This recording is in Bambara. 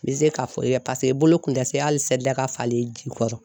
N bɛ se k'a fɔ ye paseke i bolo kun tɛ se hali seli daga falen ji kɔrɔ.